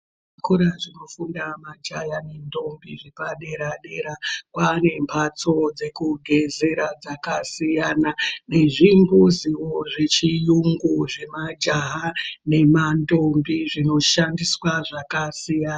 Zvikora zvinofunda majaha nentombi zvepaderadera kwane mbatso dzekugezera dzakasiyana, nezvimbudziwo zvechiyungu zvemajaha nemantombi zvinoshandiswa zvakasiyana.